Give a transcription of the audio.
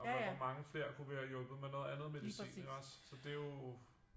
Og hvor mange flere kunne vi have hjulpet med noget andet medicin ikke også så det jo